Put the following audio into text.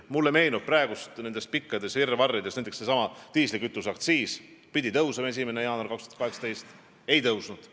Mulle meenub nendest pikkadest virvarridest ka näiteks seesama diislikütuse aktsiis, mis pidi tõusma 1. jaanuarist 2018, aga ei tõusnud.